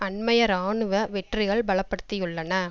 அண்மைய இராணுவ வெற்றிகள் பலப்படுத்தியுள்ளன